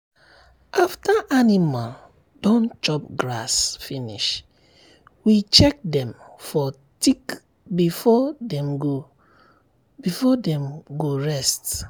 after animal don chop grass finish we check dem for tick before dem go before dem go rest.